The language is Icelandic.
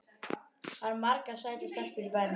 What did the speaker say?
Það eru margar sætar stelpur í bænum.